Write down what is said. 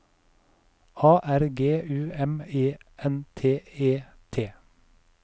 A R G U M E N T E T